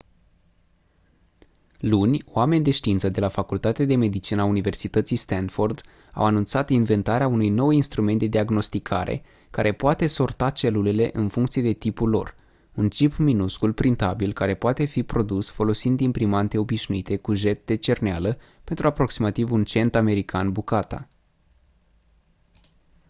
luni oameni de știință de la facultatea de medicină a universității stanford au anunțat inventarea unui nou instrument de diagnosticare care poate sorta celulele în funcție de tipul lor un cip minuscul printabil care poate fi produs folosind imprimante obișnuite cu jet de cerneală pentru aproximativ un cent american bucata